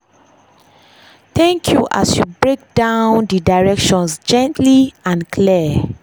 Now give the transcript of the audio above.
thank you as break down dey directions gently and clear.